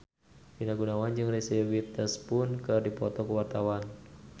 Rina Gunawan jeung Reese Witherspoon keur dipoto ku wartawan